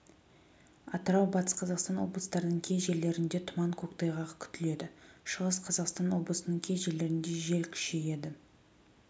атырау батыс қазақстан облыстарының кей жерлерінде тұман көктайғақ күтіледі шығыс қазақстан облысының кей жерлерінде жел күшейеді